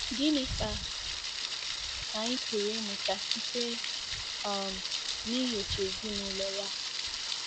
Gịnị ka anyị pụrụ ịmụta site um n'inyocha ezinụlọ ya?